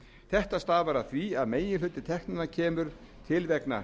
þetta stafar af því að meginhluti teknanna kemur til vegna